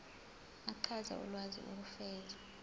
achaze ulwazi ukufeza